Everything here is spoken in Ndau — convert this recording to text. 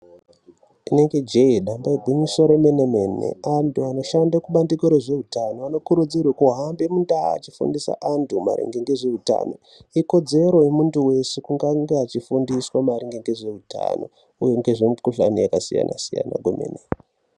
Inenge jee nyamba igwinyiso remenemene, antu anoshande kubandiko rezveutano anokurudzirwe kuhambe mundau achifundise antu maringe ngezveutano. Ikodzero yemuntu weshe kunge ange achifundiswa maringe ngezveutano uye ngezvemukhuhlani yakasiyana siyana kwemene.